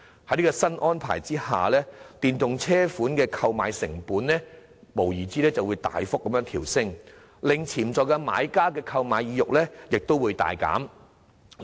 在這項新安排下，電動車款的購買成本無疑會大幅調升，令潛在買家的購買意欲大減。